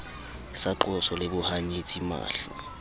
sa qoso le bohanyetsi mahla